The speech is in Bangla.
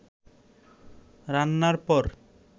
রান্নার পর